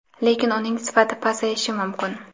lekin uning sifati pasayishi mumkin.